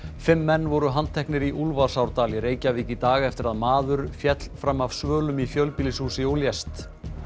fimm menn voru handteknir í í Reykjavík í dag eftir að maður féll fram af svölum í fjölbýlishúsi og lést